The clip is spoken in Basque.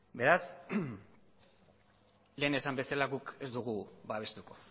beraz lehen esan bezala guk ez dugu babestuko